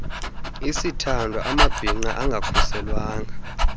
isithandwa amabhinqa angakhuselwanga